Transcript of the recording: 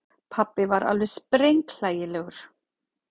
Pabbi var alveg sprenghlægilegur.